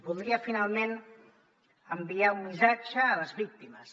voldria finalment enviar un missatge a les víctimes